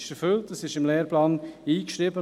Es ist erfüllt, es ist im Lehrplan eingeschrieben.